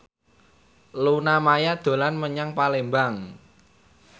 Luna Maya dolan menyang Palembang